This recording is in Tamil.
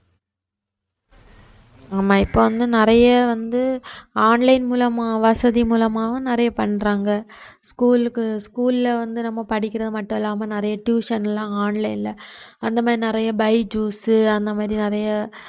ஆமா இப்ப வந்து நிறைய வந்து online மூலமா வசதி மூலமாவும் நிறைய பண்றாங்க school க்கு school ல வந்து நம்ம படிக்கிறது மட்டும் இல்லாம நிறைய tuition லாம் online ல அந்த மாதிரி நிறைய byjus அந்த மாதிரி நிறைய